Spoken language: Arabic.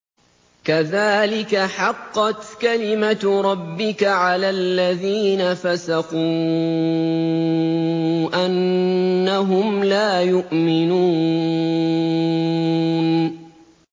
كَذَٰلِكَ حَقَّتْ كَلِمَتُ رَبِّكَ عَلَى الَّذِينَ فَسَقُوا أَنَّهُمْ لَا يُؤْمِنُونَ